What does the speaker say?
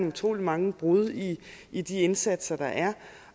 utrolig mange brud i i de indsatser der er